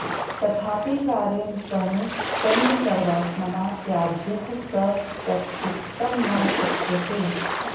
तथापि कार्यं शृणु सङ्गः सर्वात्मना त्याज्यः स चेत्त्यक्तुं न शक्यते